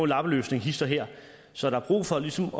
lappeløsning hist og her så der er brug for ligesom